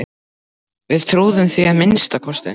Við trúðum því að minnsta kosti.